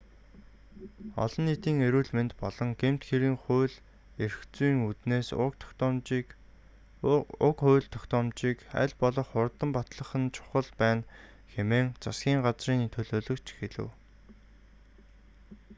олон нийтийн эрүүл мэнд болон гэмт хэргийн хууль эрх зүйн үүднээс уг хууль тогтоомжийг аль болох хурдан батлах нь чухал байна хэмээн засгийн газрын төлөөлөгч хэлэв